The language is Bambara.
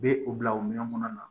U bɛ u bila o minɛn kɔnɔ